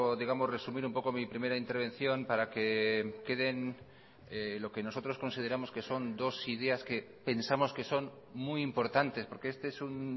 digamos resumir un poco mi primera intervención para que queden lo que nosotros consideramos que son dos ideas que pensamos que son muy importantes porque este es un